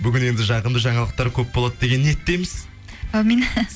бүгін енді жағымды жаңалықтар көп болады деген ниеттеміз аумин